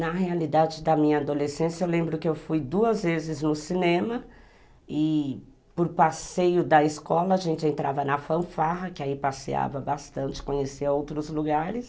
Na realidade da minha adolescência, eu lembro que eu fui duas vezes no cinema e por passeio da escola a gente entrava na fanfarra, que aí passeava bastante, conhecia outros lugares.